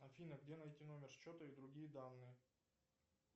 афина где найти номер счета и другие данные